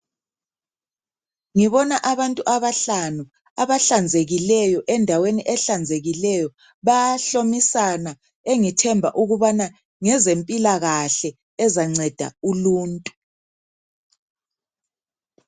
Ngibona abantu abahlanu, abahlanzekileyo endaweni ehlanzekileyo. Bayahlomisana engithemba ukubana ngezempilakahle ezanceda uluntu.